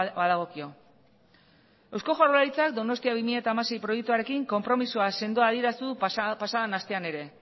badagokio eusko jaurlaritzak donostia bi mila hamasei proiektuarekin konpromisoa sendoa adierazi du pasadan astean ere